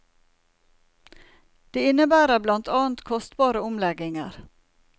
Det innebærer blant annet kostbare omlegginger.